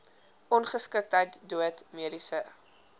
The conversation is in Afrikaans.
ongeskiktheid dood mediese